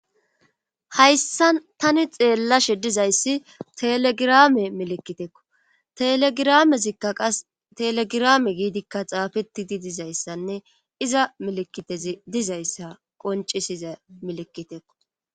hayssa tani xeellashe dizayssi telegirame melekiteekko telegiramezikka qas telegirame giidikka xaafettidi dizayssanne iza melekitezi dizayssa qoncisiza melekitekko